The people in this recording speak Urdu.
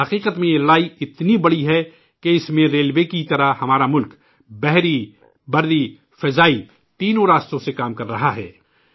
حقیقت میں ، یہ لڑائی اتنی بڑی ہے کہ اس میں ریلوے کی ہی طرح ہمارا ملک بحری ، بری اور فضائی ، تینوں راستوں سے کام کر رہا ہے